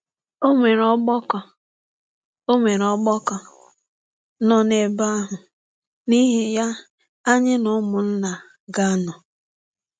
Ọnwere Ọgbakọ Ọnwere Ọgbakọ nọ n’ebe ahụ, n’ihi ya anyị na ụmụnna ga - anọ.